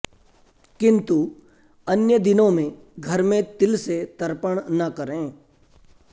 किन्तु अन्य दिनों में घर में तिल से तर्पण न करें